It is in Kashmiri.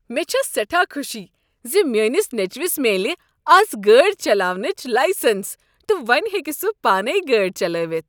مےٚ چھےٚ سیٹھاہ خوشی ز میٛٲنس نیٚچوس میلییہِ از گٲڑۍ چلاونٕچ لایسنٛس تہٕ وۄنۍ ہیٚکہ سہ پانے گٲڑۍ چلٲوتھ۔